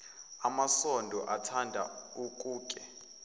masondo uthanda ukuke